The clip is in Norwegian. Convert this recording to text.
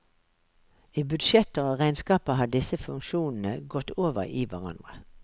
I budsjetter og regnskaper har disse funksjonene gått over i hverandre.